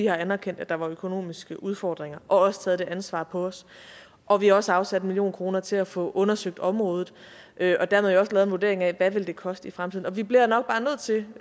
har anerkendt at der var økonomiske udfordringer og også taget det ansvar på os og vi har også afsat en million kroner til at få undersøgt området og dermed også få en vurdering af hvad det vil koste i fremtiden vi bliver nok bare nødt til